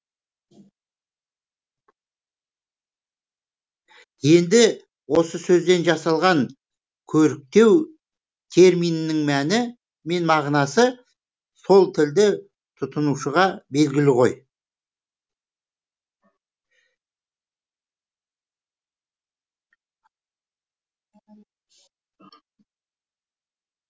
енді осы сөзден жасалған көріктеу терминінің мәні мен мағынасы сол тілді тұтынушыға белгілі ғой